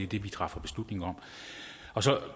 det vi træffer beslutning om og så